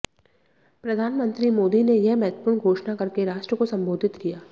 प्रधान मंत्री मोदी ने यह महत्वपूर्ण घोषणा करके राष्ट्र को संबोधित किया